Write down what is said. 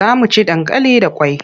Za mu ci dankali da kwai.